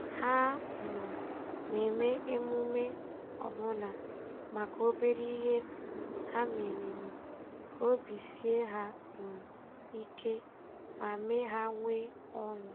Ha um na-eme emume ọbụna maka obere ihe ha meriri, ka obi sie ha um ike ma mee ha nwee ọṅụ.